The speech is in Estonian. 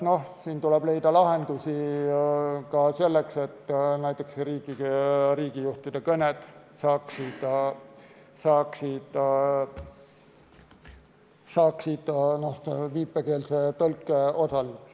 Siin tuleb leida lahendusi, et näiteks riigijuhtide kõned saaksid viipekeelse tõlke.